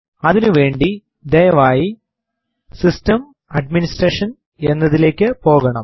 അതിനുവേണ്ടി ദയവായി സിസ്റ്റംഗ്ടാഡ്മിനിസ്റേഷൻ എന്നതിലേക്ക് പോകണം